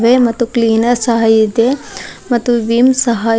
ಮತ್ತು ಕ್ಲೀನರ್ ಸಹ ಇದೆ ಮತ್ತು ವಿಮ್ ಸಹ --